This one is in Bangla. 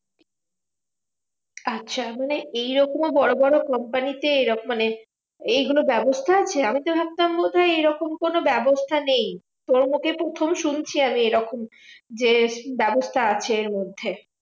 আচ্ছা মানে এইরকমও বড় বড় company তে মানে এইগুলোর ব্যবস্থা আছে? আমিতো ভাবতাম বোধহয় এরকম কোনো ব্যবস্থা নেই। তোর মুখে প্রথম শুনছি আমি এইরকম যে ব্যবস্থা আছে এরমধ্যে।